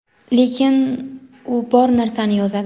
lekin u bor narsani yozadi.